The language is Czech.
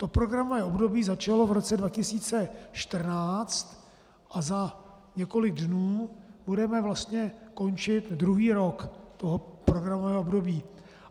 To programové období začalo v roce 2014 a za několik dnů budeme vlastně končit druhý rok toho programového období.